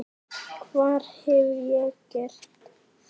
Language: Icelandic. Hvar hef ég gert það?